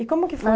E como que foi?